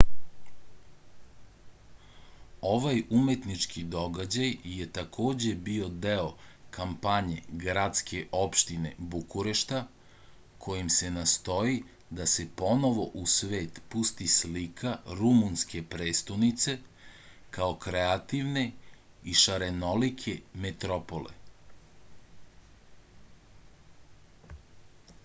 ovaj umetnički događaj je takođe bio deo kampanje gradske opštine bukurešta kojim se nastoji da se ponovo u svet pusti slika rumunske prestonice kao kreativne i šarenolike metropole